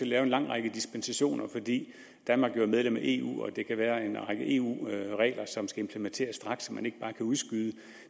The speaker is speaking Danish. lave en lang række dispensationer fordi danmark jo er medlem af eu og der kan være en række eu regler som skal implementeres straks og som man ikke bare kan udskyde